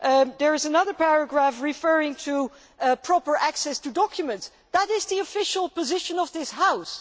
There is another paragraph referring to proper access to documents that is the official position of this House!